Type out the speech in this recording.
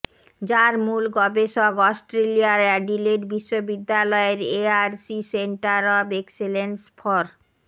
যার মূল গবেষক অস্ট্রেলিয়ার অ্যাডিলেড বিশ্ববিদ্যালয়ের ARC centre of excellence for